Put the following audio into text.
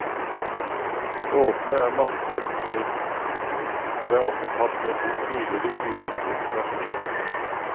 Låtene er mastret på nytt, og det er også tatt med to tidligere uutgitte versjoner.